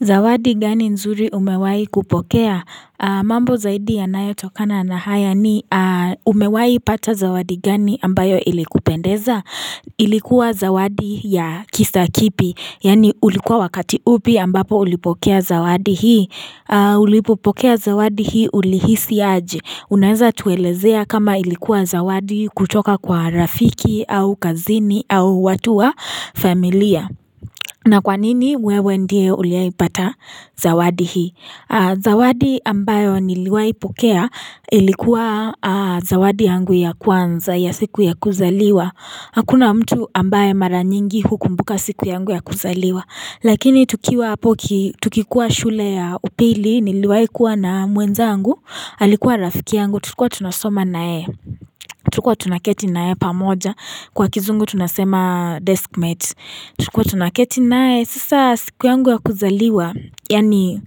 Zawadi gani nzuri umewahi kupokea? Mambo zaidi yanayotokana na haya ni Umewahi pata zawadi gani ambayo ilikupendeza. Ilikuwa zawadi ya kisa kipi. Yani ulikuwa wakati upi ambapo ulipokea zawadi hii. Ulipokea zawadi hii ulihisi aje. Unaeza tuelezea kama ilikuwa zawadi kutoka kwa rafiki au kazini au watu wa familia. Na kwanini wewe ndiye uliwahi pata zawadi hii? Zawadi ambayo niliwahi pokea ilikuwa zawadi yangu ya kwanza, ya siku ya kuzaliwa. Hakuna mtu ambaye mara nyingi hukumbuka siku yangu ya kuzaliwa. Lakini tukiwa apo ki, tukikuwa shule ya upili niliwai kuwa na mwenzangu, alikuwa rafiki yangu, tulikuwa tunasoma naye. Tulikuwa tunaketi naye pamoja, kwa kizungu tunasema deskmate. Tulikuwa tunaketi naye, sasa siku yangu ya kuzaliwa, yani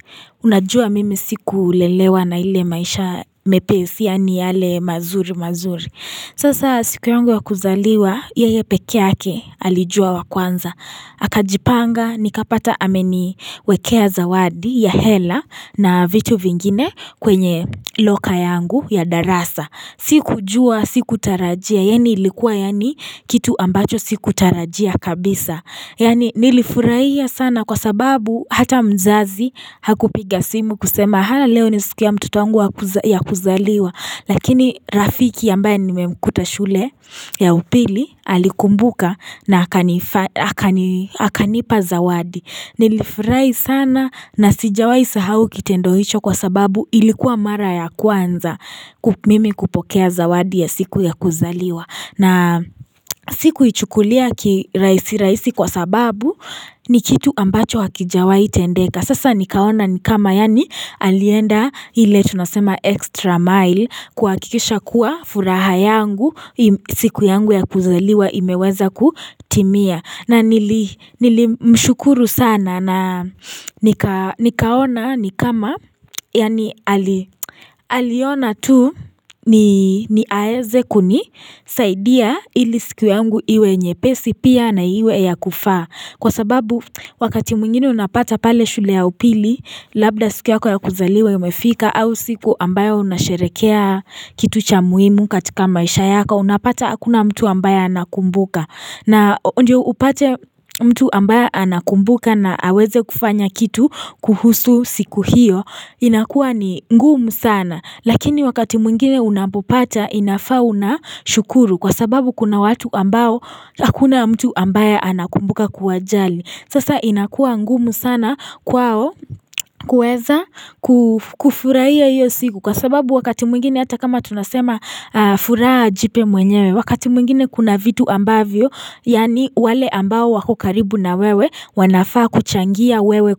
unajua mimi siku lelewa na ile maisha mepesi, yani yale mazuri mazuri. Sasa siku yangu ya kuzaliwa, yeye peke yake, alijua wa kwanza. Akajipanga, nikapata ameniwekea zawadi ya hela na vitu vingine kwenye loka yangu ya darasa. Sikujua, sikutarajia. Yani ilikuwa yani kitu ambacho sikutarajia kabisa. Yani nilifurahia sana kwa sababu hata mzazi hakupiga simu kusema hallo ni siku ya mtoto wangu ya kuzaliwa. Lakini rafiki ambaye nimemkuta shule ya upili alikumbuka na akanipa zawadi. Nilifurahi sana na sijawai sahau kitendo hicho kwa sababu ilikuwa mara ya kwanza mimi kupokea zawadi ya siku ya kuzaliwa. Na sikuichukulia kirahisi rahisi kwa sababu ni kitu ambacho hakijawai tendeka. Sasa nikaona ni kama yani alienda ile tunasema extra mile kuhakikisha kuwa furaha yangu siku yangu ya kuzaliwa imeweza kutimia. Na nilimshukuru sana na nikaona ni kama yani aliona tu ni aeze kunisaidia ili siku yangu iwe nyepesi pia na iwe ya kufaa. Kwa sababu wakati mwingine unapata pale shule ya upili labda siku yako ya kuzaliwa imefika au siku ambayo unasherehekea kitu cha muhimu katika maisha yako unapata hakuna mtu ambaye anakumbuka na ndio upate mtu ambaye anakumbuka na aweze kufanya kitu kuhusu siku hiyo inakuwa ni ngumu sana. Lakini wakati mwingine unapopata inafaa una shukuru kwa sababu kuna watu ambao hakuna mtu ambaye anakumbuka kuwajali. Sasa inakuwa ngumu sana kwao kuweza kufurahia iyo siku kwa sababu wakati mwingine hata kama tunasema furaha jipe mwenyewe wakati mwingine kuna vitu ambavyo yani wale ambao wako karibu na wewe wanafaa kuchangia wewe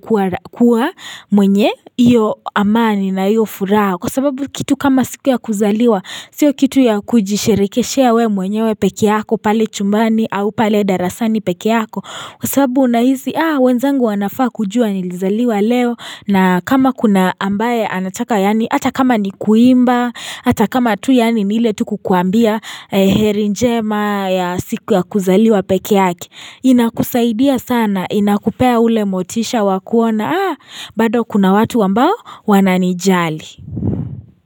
kuwa mwenye iyo amani na iyo furaha. Kwa sababu kitu kama siku ya kuzaliwa, sio kitu ya kujisherekeshea we mwenyewe peke yako, pale chumbani, au pale darasani peke yako. Kwa sababu unahisi wenzangu wanafaa kujua nilizaliwa leo, na kama kuna ambaye anataka yani, hata kama ni kuimba, hata kama tu yani ni ile tu kukuambia heri njema ya siku ya kuzaliwa peke yake. Inakusaidia sana, inakupea ule motisha wa kuona, ah, bado kuna watu ambao wananijali.